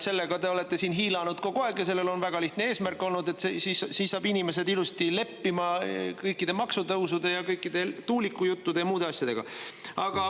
Sellega te olete siin hiilanud kogu aeg ja sellel on olnud väga lihtne eesmärk: siis saab inimesed ilusti leppima kõikide maksutõusude, kõikide tuulikujuttude ja muude asjadega.